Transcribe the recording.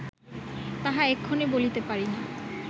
তাহা এক্ষণে বলিতে পারি না